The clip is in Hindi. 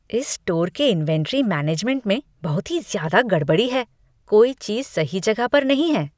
इस स्टोर के इन्वेंट्री मैनेजमेंट में बहुत ही ज्यादा गड़बड़ी है। कोई चीज़ सही जगह पर नहीं है।